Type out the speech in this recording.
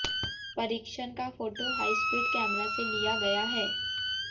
परीक्षण का photo high speed camera से लिया गया है